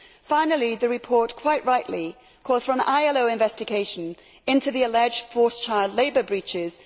Finally the report quite rightly calls for an ILO investigation into the alleged forced child labour breaches.